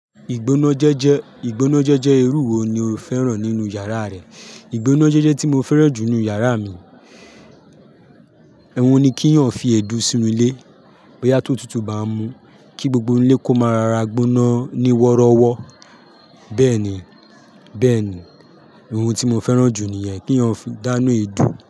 Ìgbónájẹ́jẹ́, ìgbónájẹ́jẹ́ irú wo ni o fẹ́ràn nínú yàrá rẹ? Ìgbónájẹ́jẹ́ tí mo fẹ́ràn jù nínú yàrá mi, ohun ni kí eyàn fi èédú sínu ilé bóyá tó tutù bá mú kí gbogbo ilé kó máa ra gbóná ní wọ́rọ́wọ́. Bẹ́ẹ̀ni, bẹ́ẹ̀ni, ohun tí mo fẹ́ràn jù niyẹn keeyàn fi dànù èédú.